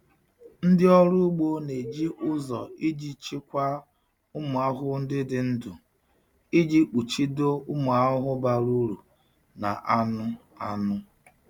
Ndị ọrụ ugbo na-eji ụzọ iji chịkwaa ụmụ ahụhụ ndị dị ndụ iji kpuchido ụmụ ahụhụ bara uru na anụ anụ.